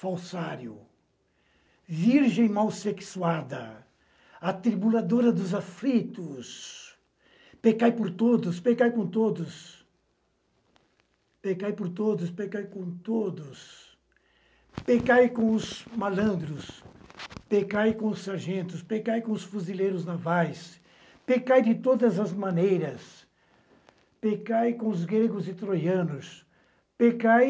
falsário, virgem malsexuada, atribuladora dos aflitos, pecai por todos, pecai com todos, pecai por todos, pecai com todos, pecai com os malandros, pecai com os sargentos, pecai com os fuzileiros navais, pecai de todas as maneiras, pecai com os gregos e troianos, pecai